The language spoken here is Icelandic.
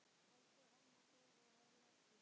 Elsku amma Dóra er látin.